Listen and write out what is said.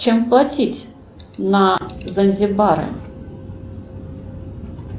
чем платить на занзибаре